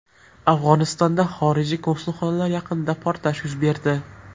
Afg‘onistonda xorijiy konsulxonalar yaqinida portlash yuz berdi.